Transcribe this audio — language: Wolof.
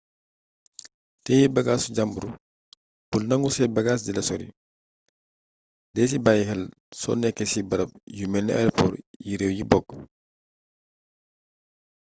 tëye bagaasu jàmbur bul nagu say bagaas dila sori dee ci bàyyi xel soo nekkee ci barab yu melni aeopor yi réew yi bokk